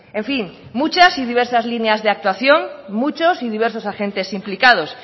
en fin muchas y diversas líneas de actuación muchos y diversos agentes implicados